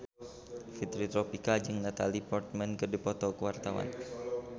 Fitri Tropika jeung Natalie Portman keur dipoto ku wartawan